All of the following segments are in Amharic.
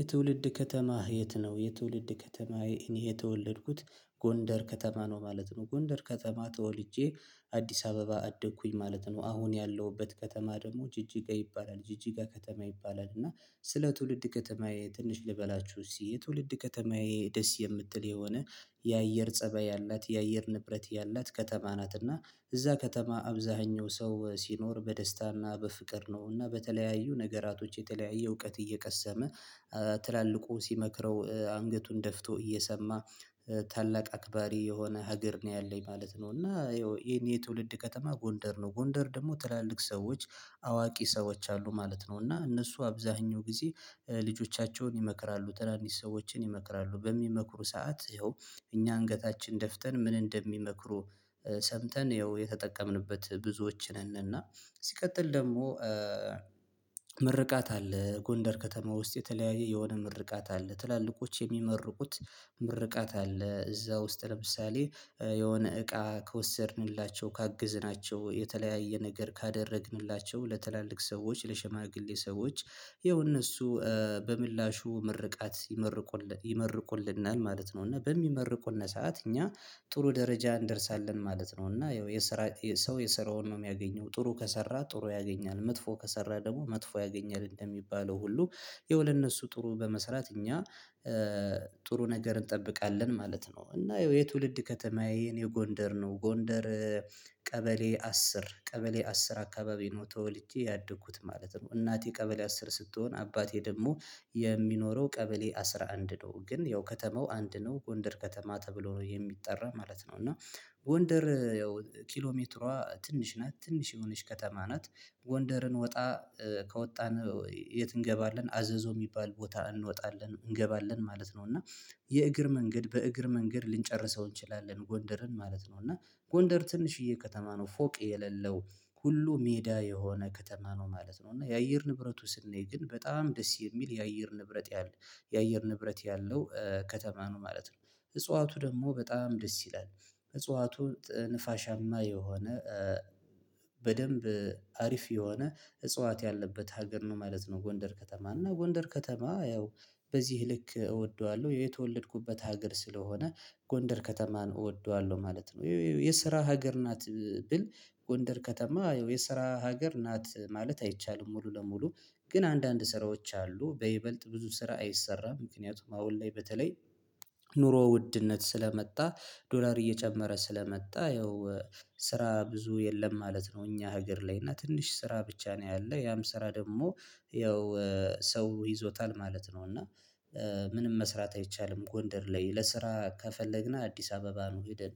የትውልድ ከተማህ የት ነው? የትውልድ ከተማዬ እኔ የተወለድኩት ጎንደር ከተማ ነው ማለት ነው። ጎንደር ከተማ ተወልጄ አዲስ አበባ አደኩኝ ማለት ነው። አሁን ያለሁበት ከተማ ደግሞ ጅጅጋ ይባላል ጅጅጋ ከተማ ይባላል። እና ስለ ትውልድ ከተማዬ ትንሽ ልበላችሁ እሲ የትውልድ ከተማዬ ደስ የምትል የሆነ የአየር ፀበይ ያላት የአየር ንብረት ያላት ከተማ ናት። እና እዛ ከተማ አብዛኛው ሰው ሲኖር በደስታና በፍቅር ነው። አና በተለያዩ ነገራቶች የተለያየ እውቀት እየቀሰመ ትላልቁ ሲመክረው አንገቱን ደፍቶ እየሰማ ታላቅ አክባሪ የሆነ ሀገር ነው ያለኝ ማለት ነው። እና ይሄን የትውልድ ከተማ ጎንደር ነው ጎንደር ደግሞ ትላልቅ ሰዎች አዋቂ ሰዎች አሉ ማለት ነው። እና እነሱ አብዛኛው ጊዜ ልጆቻቸውን ይመክራሉ ትናንሽ ሰዎችን ይመክራሉ በሚመክሩ ሰዓት ይኸው እኛ አንገታችን ደፍተን ምን እንደሚመክሩ ሰምተን ይኸው የተጠቀምንበት ብዙዎች ነን። እና ሲቀጥል ደግሞ ምርቃት አለ ጎንደር ከተማ ውስጥ የተለያየ የሆነ ምርቃት አለ። ትላልቆች የሚመርቁት ምርቃት አለ እዛ ውስጥ ለምሳሌ የሆነ እቃ ከወሰድንላቸው ካግዝናቸው የተለያየ ነገር ካደረግንላቸው ለትላልቅ ሰዎች ለሽማግሌ ሰዎች ይኸው እነሱ በምላሹ ምርቃት ይመርቁልናል ማለት ነው። እና በሚመርቁነ ሰዓት እኛ ጥሩ ደረጃ እንደርሳለን ማለት ነው። እና ያው የሰራ ሰው የሰራውን ነው የሚያገኘው ጥሩ ከሰራ ጥሩ ያገኛል መጥፎ ከሰራ ደግሞ መጥፎ ያገኛል እንደሚባለው ሁሉ። ይኸው ለእነሱ ጥሩ በመስራት እኛ ጥሩ ነገር እንጠብቃለን ማለት ነው። እና የትውልድ ከተማዬ አኔ ጎንደር ነው ጎንደር ቀበሌ አስር ቀበሌ አስር አካባቢ ነው ተወልቼ ያደኩት ማለት ነው። እናቴ ቀበሌ አስር ስትሆን አባቴ ደግሞ የሚኖረው ቀበሌ አስራ አንድ ነው። ግን ያው ከተማው አንድ ነው ጎንደር ከተማ ተብሎ ነው የሚጠራ ማለት ነው። እና ጎንደር ያው ኪሎ ሜትሯ ትንሽ ናት ትንሽ የሆነች ከተማ ናት። ጎንደርን ወጣ ከወጣን የት እንገባለን አዘዞ ሚባል ቦታ እንወጣለን እንገባለን ማለት ነው። እና የእግር መንገድ በእግር መንገድ ልንጨርሰው እንችላለን ጎንደርን ማለት ነው። እና ጎንደር ትንሽዬ ከተማ ነው ፎቅ የለለው ሁሉ ሜዳ የሆነ ከተማ ነው ማለት ነው። እና የአየር ንብረቱ ሰናይ ግን በጣም ደስ የሚል የአየር ንብረት የአየር ንብረት ያለው ከተማ ነው። ማለት ነው እጽዋቱ ደግሞ በጣም ደስ ይላል እጽዋቱ ነፋሻማ የሆነ በደንብ አሪፍ የሆነ እጽዋት ያለበት ሀገር ነው ማለት ነው። ጎንደር ከተማ እና ጎንደር ከተማ ያው በዚህ ልክ እወደዋለሁ የተወለድኩበት ሀገር ስለሆነ ጎንደር ከተማን እወደዋለሁ ማለት ነው። የስራ ሀገር ናት ብል ጎንደር ከተማ የስራ ሀገር ናት ማለት አይቻልም። ሙሉ ለሙሉ ግን አንዳንድ ስራዎች አሉ በይበልጥ ብዙ ስራ አይሰራም ምክንያቱም አሁን ላይ በተለይ ኑሮ ውድነት ስለመጣ ዶላር እየጨመረ ስለመጣ ያው ስራ ብዙ የለም ማለት ነው። እኛ ሀገር ላይ እና ትንሽ ስራ ብቻ ነው ያለ ያም ስራ ደግሞ ያው ሰው ይዞታል ማለት ነው። እና ምንም መስራት አይቻልም ጎንደር ላይ ለስራ ከፈለግና አዲስ አበባ ነው ሄደን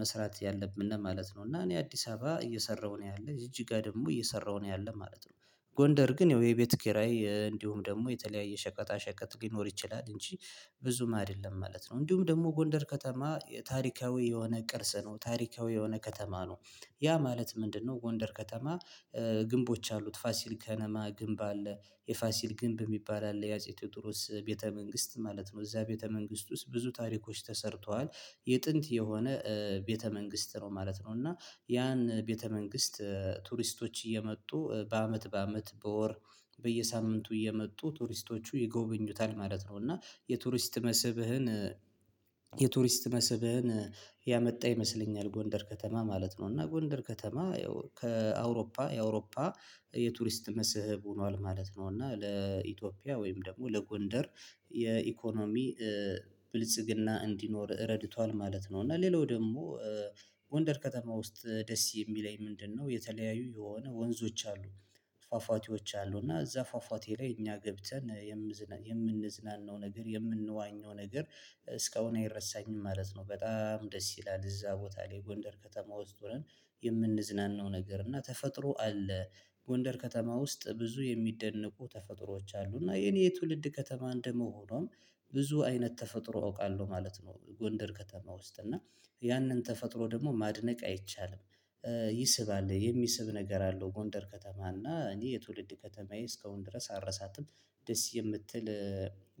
መስራት ያለብነ ማለት ነው። እና እኔ አዲስ አበባ እየሰራሁ ነው ያለ ጅጅጋ ደግሞ እየሰራሁ ነው ያለኝ ማለት ነው። ጎንደር ግን ያው የቤት ኪራይ እንዲሁም ደግሞ የተለያየ ሸቀጣ ሸቀጥ ሊኖር ይችላል እንጂ ብዙም አይደለም ማለት ነው። እንዲሁም ደግሞ ጎንደር ከተማ ታሪካዊ የሆነ ቅርስ ነው ታሪካዊ የሆነ ከተማ ነው። ያ ማለት ምንድነው? ጎንደር ከተማ ግንቦች አሉት ፋሲል ከነማ ግንብ አለ የፋሲል ግንብ የሚባል አለ የአጼ ቴዎድሮስ ቤተ መንግስት ማለት ነው። እዛ ቤተ መንግስት ውስጥ ብዙ ታሪኮች ተሰርተዋል የጥንት የሆነ ቤተ መንግስት ነው ማለት ነው። እና ያን ቤተ መንግስት ቱሪስቶች እየመጡ በአመት በአመት በወር በየሳምንቱ እየመጡ ቱሪስቶቹ ይጎበኙታል ማለት ነው። እና የቱሪስት መስብህን የቱሪስት መስብህን ያመጣ ይመስለኛል ጎንደር ከተማ ማለት ነው። እና ጎንደር ከተማ ያው ከአውሮፓ የአውሮፓ የቱሪስት መስህብ ሆኗል ማለት ነው። እና ለኢትዮጵያ ወይም ደግሞ ለጎንደር የኢኮኖሚ ብልጽግና እንዲኖር ረድቷል ማለት ነው። እና ሌላው ደግሞ ጎንደር ከተማ ውስጥ ደስ የሚለኝ ምንድነው? የተለያዩ የሆነ ወንዞች አሉ ፋፋቴዎች አሉ እና እዛ ፋፋቴ ላይ እኛ ገብተን የምዝናናው ነገር የምንዋኘው ነገር እስካሁን አይረሳኝም ማለት ነው። በጣም ደስ ይላል እዛ ቦታ ላይ ጎንደር ከተማ ውስጥ ሆነን የምንዝናናው ነገር እና ተፈጥሮ አለ። ጎንደር ከተማ ውስጥ ብዙ የሚደነቁ ተፈጥሮዎች አሉ እና የኔ የትውልድ ከተማ እንደመሆኗም ብዙ አይነት ተፈጥሮ አውቃለሁ ማለት ነው። ጎንደር ከተማ ውስጥ እና ያንን ተፈጥሮ ደግሞ ማድነቅ አይቻልም ይስባል የሚስብ ነገር አለው ጎንደር ከተማ እና እኔ የትውልድ ከተማዬ እስካሁን ድረስ አልረሳትም። ደስ የምትል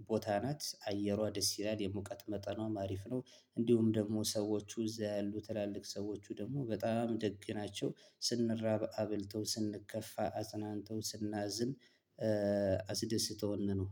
ቦታ ናት አየሯ ደስ ይላል የሙቀት መጠኗም አሪፍ ነው። እንዲሁም ደግሞ ሰዎቹ እዛ ያሉ ትላልቅ ሰዎቹ ደግሞ በጣም ደግ ናቸው። ስንራብ አብልተው ስንከፋ አጽናንተው ስናዝን አስደስተውነ ነው